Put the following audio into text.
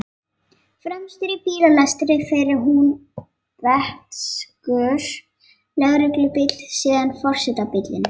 Fremstur í bílalestinni fer húnvetnskur lögreglubíll, síðan forsetabíllinn.